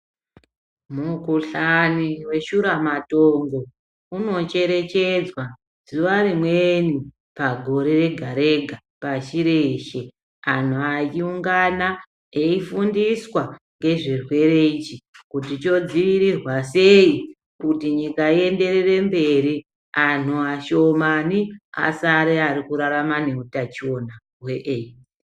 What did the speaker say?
Mukuhlani veshura matongo unocherechedzwa zuva rimweni pagore rega-rega pashi reshe. Antu achiungana eifundiswa ngezvirwere ichi kuti chodzivirirwa sei. Kuti nyika ienderere mberi antu ashomani asare arikurarama neutachiona hwe eidzi.